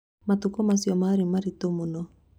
Matukũ macio marĩ maritũ mũno